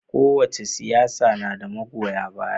Kowace siyasa na da magoya baya.